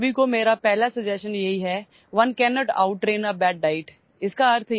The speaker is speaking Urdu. آپ سب کے لیے میری پہلی تجویز یہ ہے کہ 'کوئی بھی شخص خراب غذا کی مشق نہیں کر سکتا'